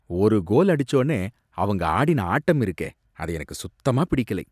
ஒரு கோல் அடிச்சோனே அவங்க ஆடின ஆட்டம் இருக்கே, அது எனக்கு சுத்தமா பிடிக்கலை